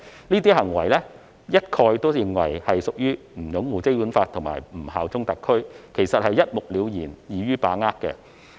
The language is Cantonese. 這些行為一概被視為不擁護《基本法》和不效忠特區，一目了然，易於把握。